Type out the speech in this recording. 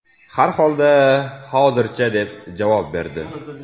Har holda, hozircha”, deb javob berdi.